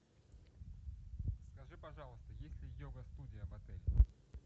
скажи пожалуйста есть ли йога студия в отеле